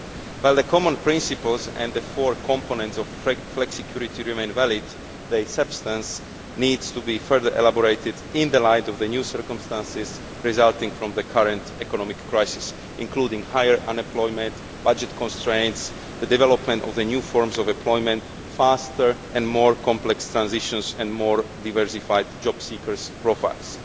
While the common principles and the four components of flexicurity remain valid, their substance needs to be further elaborated in the light of the new circumstances resulting from the current economic crisis including higher unemployment, budget constraints, the development of the new forms of employment, faster and more complex transitions and more diversified job seekers' profiles.